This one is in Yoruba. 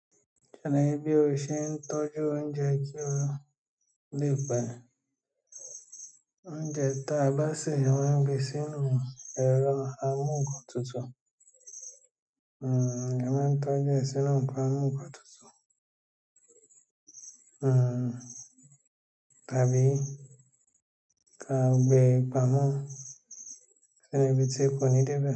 Ṣalaye bí o ṣe ń tọ́jú oúnjẹ tí ó le pé. Oúnjẹ tá bá sè wọ́n gbé sínú ẹ̀rọ amúǹkantutù. Hmm, wọ́n máa ń tọ́jú sínú amúǹkantutù. Hmm, tàbí tá gbé pámọ̀, ṣi nu ibí tí ẹ kò ní dẹ́bà?